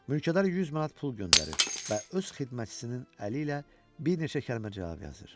Mülkədar 100 manat pul göndərir və öz xidmətçisinin əli ilə bir neçə kəlmə cavab yazır.